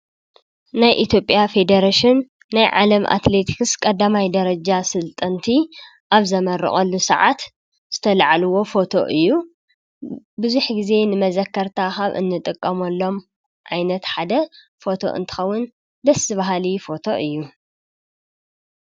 ናይ ኢትየፐጴያ ፌደረሽን ናይ ዓለም ኣትሌትክስ ቀዳማይ ደረጃ ሥልጠንቲ ኣብ ዘመርቐሉ ሰዓት ዝተልዕልዎ ፎቶ እዩ። ብዙይሕ ጊዜ ንመዘከርታ ካብ እንጥቀምኣሎም ኣይነት ሓደ ፎቶ እንታኸውን ደስብሃሊ ፎቶ እዩ።